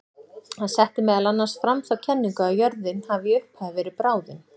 Hann setti meðal annars fram þá kenningu að jörðin hafi í upphafi verið bráðin.